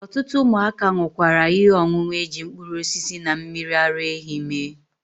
Otutu umuaka nukwara ihe onunu eji mkpuru osisi na mmiri ara ehi mee.